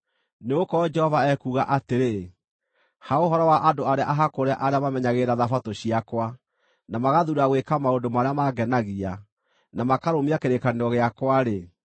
Nĩgũkorwo Jehova ekuuga atĩrĩ: “Ha ũhoro wa andũ arĩa ahakũre arĩa mamenyagĩrĩra thabatũ ciakwa, na magathuura gwĩka maũndũ marĩa mangenagia, na makarũmia kĩrĩkanĩro gĩakwa-rĩ,